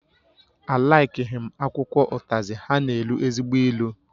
Á laikighi m akwụkwọ ụtazi, ha na-elu ezigbo ilu